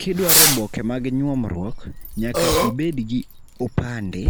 Kidwaro oboke mag nyuomruok nyaka ibed gi opande,